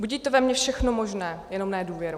Budí to ve mně všechno možné, jenom ne důvěru.